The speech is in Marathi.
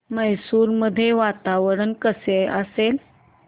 मैसूर मध्ये वातावरण कसे असेल